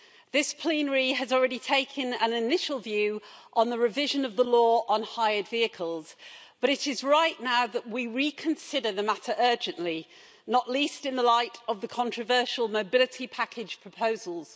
This plenary has already taken an initial view on the revision of the law on hired vehicles, but it is right now that we reconsider the matter urgently, not least in the light of the controversial mobility package proposals.